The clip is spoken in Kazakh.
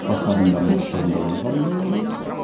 басқа адамдардың да қабылдай алу